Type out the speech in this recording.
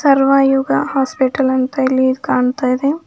Sarvayuga hospital ಅಂತ ಇಲ್ಲಿ ಇದು ಕಾಣ್ತಾ ಇದೆ.